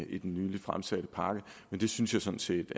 i den nyligt fremsatte pakke men det synes jeg sådan set